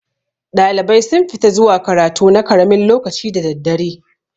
Ɗalibai sun fi ta zuwa karatu na karamin lokaci da daddare.